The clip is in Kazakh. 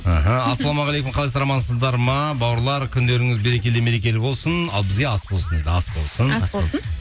іхі ассалаумағалейкум қалайсыздар амансыздар ма бауырлар күндеріңіз берекелі мерекелі болсын ал бізге ас болсын дейді ас болсын ас болсын